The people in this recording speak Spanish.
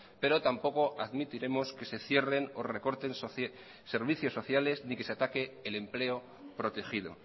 pero tampoco admitiremos que se cierren o recorten servicios sociales ni que se ataque el empleo protegido